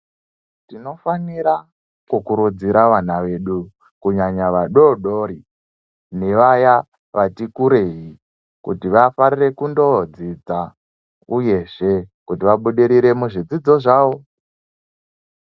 Tinofanira kukurudzira vana vedu kunyanya vadoodori nevaya vati kurei kuti vafarire kundoodzidza uyezve kuti vabudirire muzvidzidzo zvavo.